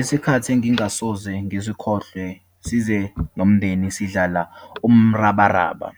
Isikhathi engingasoze ngisikhohlwe, size nomndeni sidlala umrabaraba.